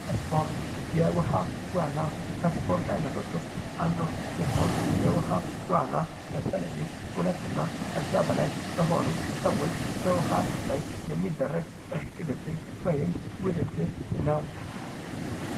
ስፖርት ፦የውሃ ዋና ከስፖርት አይነቶች ዉስጥ አንዱ ሲሆን የውሃ ዋና በተለይም ሁለ እና ከዛ በላይ በሆኑ ሰዎች በውሃ ላይ የሚደረግ እሽቅድድም ወምም ውድድር ነው።